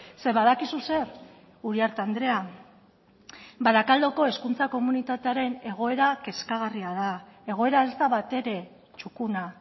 ze badakizu zer uriarte andrea barakaldoko hezkuntza komunitatearen egoera kezkagarria da egoera ez da batere txukuna